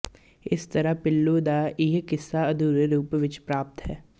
ਇਸ ਤਰ੍ਹਾਂ ਪੀਲੂ ਦਾ ਇਹ ਕਿੱਸਾ ਅਧੂਰੇ ਰੂਪ ਵਿੱਚ ਪ੍ਰਾਪਤ ਹੈ